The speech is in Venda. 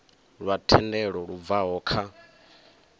lwa thendelo lu bvaho kha